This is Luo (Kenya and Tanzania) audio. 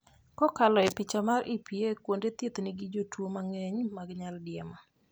kowuok e picha mar EPA, kuonde thieth nigi jotuo mangeny mokalo mag nyaldiema